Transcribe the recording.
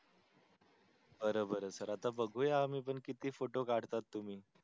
बर बर आता सर आता आम्ही बघूया आम्ही पण किती photo काढता तुमी.